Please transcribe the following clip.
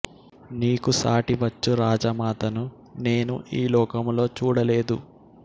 నీకు సాటి వచ్చు రాజమాతను నేను ఈలోకములో చూడ లేదు